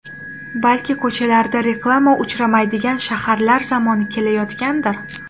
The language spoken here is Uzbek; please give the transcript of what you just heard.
Balki ko‘chalarida reklama uchramaydigan shaharlar zamoni kelayotgandir?